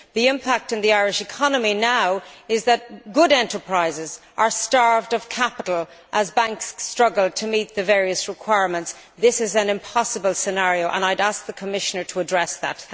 The impact on the Irish economy now is that good enterprises are starved of capital as banks struggle to meet the various requirements. This is an impossible scenario, and I would ask the Commissioner to address it.